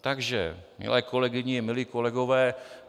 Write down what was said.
Takže milé kolegyně, milí kolegové.